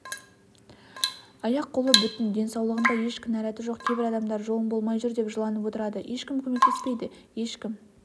аяқ-қолы бүтін денсаулығында еш кінәратжоқ кейбір адамдар жолым болмай жүр деп жыланып отырады ешкім көмектеспейді ешкім